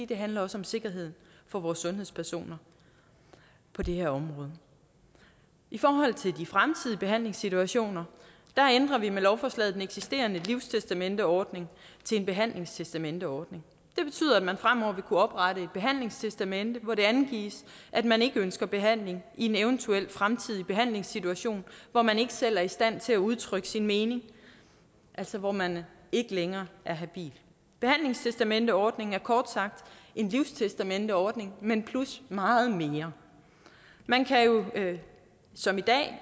det handler også om sikkerhed for vores sundhedspersoner på det her område i forhold til de fremtidige behandlingssituationer ændrer vi med lovforslaget den eksisterende livstestamenteordning til en behandlingstestamenteordning det betyder at man fremover vil kunne oprette et behandlingstestamente hvor det angives at man ikke ønsker behandling i en eventuel fremtidig behandlingssituation hvor man ikke selv er i stand til at udtrykke sin mening altså hvor man ikke længere er habil behandlingstestamenteordningen er kort sagt en livstestamenteordning men plus meget mere man kan jo som i dag